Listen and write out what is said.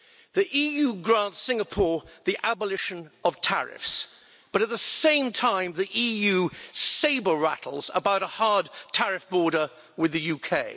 The EU grants Singapore the abolition of tariffs but, at the same time, the EU sabre rattles about a hard tariff border with the UK.